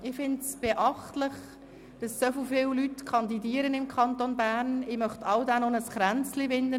Ich finde es beachtlich, dass so viele Leute im Kanton Bern kandidieren, und ich möchte allen ein Kränzchen winden.